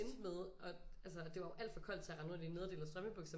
Endte med og det altså det var jo alt for koldt til at rende rundt i nederdel og strømpebukser